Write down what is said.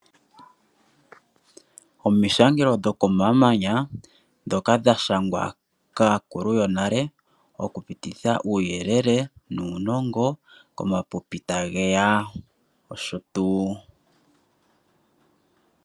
Omishangelo dhomamanya ndhoka dhashangwa kaakulu yonale , okupititha uuyelele nuunongo komapipi tageya noshotuu.